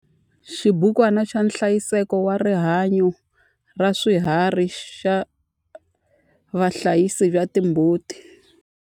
Xibukwana xa nhlayiseko wa rihanyo ra swiharhi xa vahlayisi va timbuti.